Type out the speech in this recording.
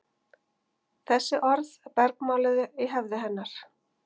Þessi orð bergmáluðu í höfði hennar.